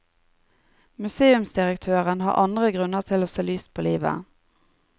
Museumsdirektøren har andre grunner til å se lyst på livet.